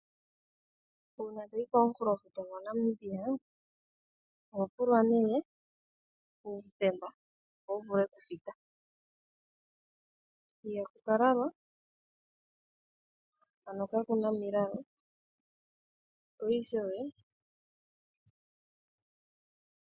Uuna to yi komukulofuta gwaNamibia oho pulwa uuthemba opo wu vule okupita ihaku ka lalwa ano ka ku na omilalo.